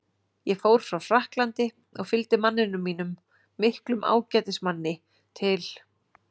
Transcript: Ég fór frá Frakklandi og fylgdi manninum mínum, miklum ágætismanni, til